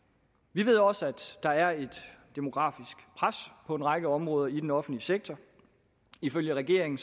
vi ved også at der er et demografisk pres på en række områder i den offentlige sektor ifølge regeringen